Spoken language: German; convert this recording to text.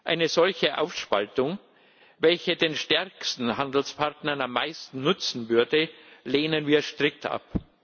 Eine solche Aufspaltung, welche den stärksten Handelspartnern am meisten nutzen würde, lehnen wir strikt ab.